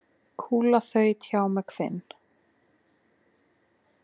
Kúla þaut hjá með hvin.